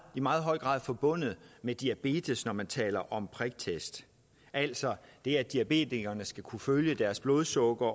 meget høj grad forbundet med diabetes når man taler om priktest altså det at diabetikerne skal kunne følge niveauet af deres blodsukker